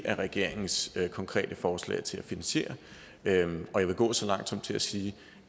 er regeringens konkrete forslag til finansiering jeg vil gå så langt som til at sige